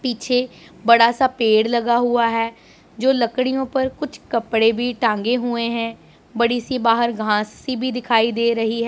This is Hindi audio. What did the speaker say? पिछे बड़ा सा पेड़ लगा हुआ हैं जो लकड़ियों पर कुछ कपड़े भी टांगे हुए हैं बड़ी सी बाहर घास सी भी दिखाई दे रही हैं।